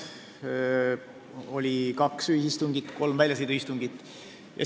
Meil oli kaks ühisistungit ja kolm väljasõiduistungit.